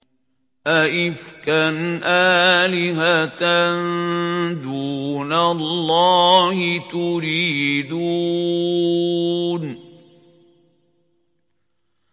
أَئِفْكًا آلِهَةً دُونَ اللَّهِ تُرِيدُونَ